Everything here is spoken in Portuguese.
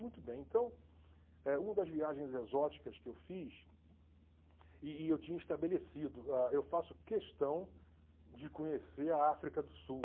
Muito bem, então, eh uma das viagens exóticas que eu fiz, e e eu tinha estabelecido, eu faço questão de conhecer a África do Sul.